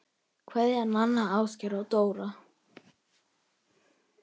Kveðja, Nanna, Ásgeir og Dóra